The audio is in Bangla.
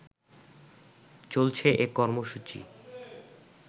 চলছে এ কর্মসূচি